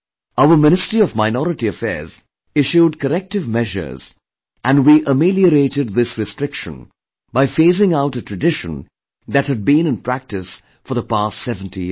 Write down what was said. Our Ministry of Minority Affairs issued corrective measures and we ameliorated this restriction by phasing out a tradition that had been in practice for the past seventy years